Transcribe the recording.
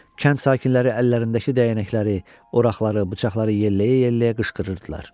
Kənd sakinləri əllərindəki dəyənəkləri, oraqları, bıçaqları yelləyə-yelləyə qışqırırdılar.